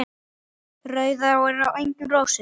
Rauð er á enginu rósin.